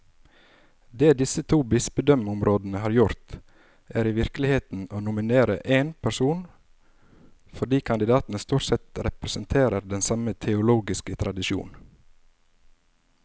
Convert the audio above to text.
Det disse to bispedømmerådene har gjort, er i virkeligheten å nominere én person, fordi kandidatene stort sett representerer den samme teologiske tradisjon.